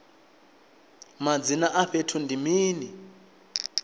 madzina a fhethu ndi mini